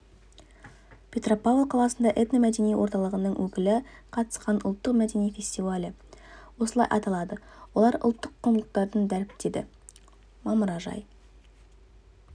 петропавл қаласында этномәдени орталығының өкілі қатысқан ұлттық мәдени фестивалі осылай аталды олар ұлттық құндылықтарын дәріптеді мамыражай